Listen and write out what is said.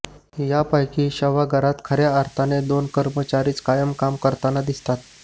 यापैकी शवागारात खर्या अर्थाने दोन कर्मचारीच कायम काम करताना दिसतात